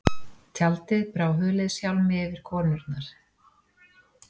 Tjaldið brá huliðshjálmi yfir konurnar.